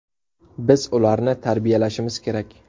Biz ularni tarbiyalashimiz kerak.